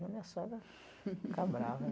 minha sogra fica brava.